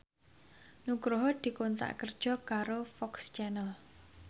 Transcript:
Nugroho dikontrak kerja karo FOX Channel